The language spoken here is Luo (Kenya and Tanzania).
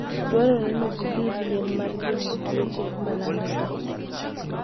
Dwarore ni gidhir yien mar geng'o tuoche ma landore.